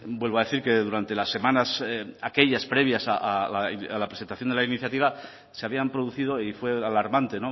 vuelvo a decir que durante las semanas aquellas previas a la presentación de la iniciativa se habían producido y fue alarmante